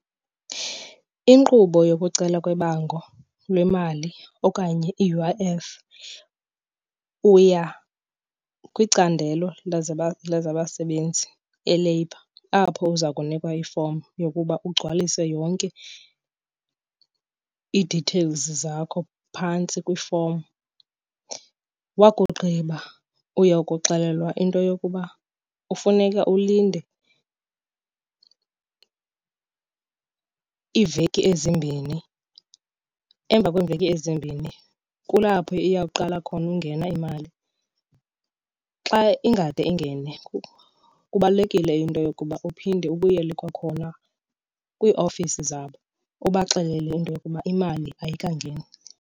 Inkqubo yokucelwa kwebango lwemali okanye i-U_I_F, uya kwiCandelo lezaBasebenzi, eLabour, apho uza kunikwa ifomu yokuba ugcwalise yonke ii-details zakho phantsi kwifomu. Wakugqiba uya kuxelelwa into yokuba kufuneka ulinde iiveki ezimbini. Emva kweeveki ezimbini kulapho iyawuqala khona ungena imali. Xa ingade ingene, kubalulekile into yokuba uphinde ubuyele kwakhona kwiiofisi zabo ubaxelele into yokuba imali ayikangeni.